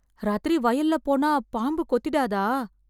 ராத்திரி வயல்ல போனா பாம்பு கொத்திடாதா!